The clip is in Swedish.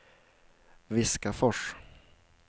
Viskafors